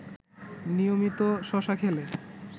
নিয়মিত শশা খেলে